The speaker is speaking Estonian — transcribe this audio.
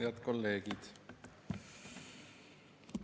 Head kolleegid!